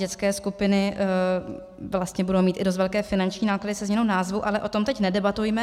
Dětské skupiny vlastně budou mít i dost velké finanční náklady se změnou názvu, ale o tom teď nedebatujme.